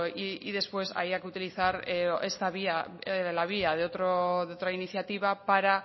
y después haya que utilizar esta vía la vía de otra iniciativa para